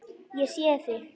Ég sé þig.